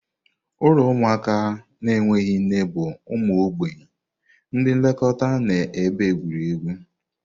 Ụlọ ụmụaka na-enweghị nne bụ ụmụ mgbei, ndị nlekọta na ebe egwuregwu.